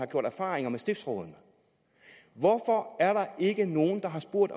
gjort erfaringer med stiftsrådene hvorfor er der ikke nogen der har spurgt